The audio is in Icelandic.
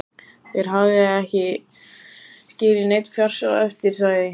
Þeir hafi ekki skilið neinn fjársjóð eftir, sagði